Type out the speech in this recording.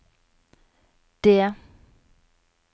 det